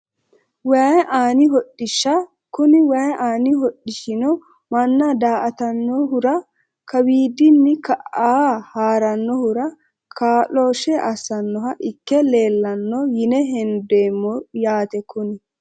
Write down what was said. Wayi aani hodhishsha kuni wayi aani hodhishino mana daa`atanohura kawiidini ka`aa haranohura kaaloshe asanoha ike leelano yine hendeemo yaate kuni.